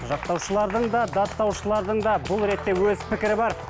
жақтаушылардың да даттаушылардың да бұл ретте өз пікірі бар